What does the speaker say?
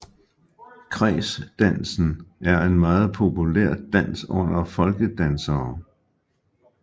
Kredsdansen er en meget populær dans under folkedansere